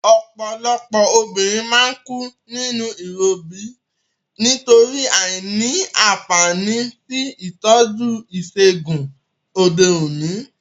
Òpòlopò obìnrin má n kú nínú ìrobí nítorí àìní ànfàní sí ìtójú ìsègùn òde òní